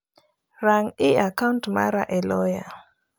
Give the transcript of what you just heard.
Ran'i a kaunt mara e loya.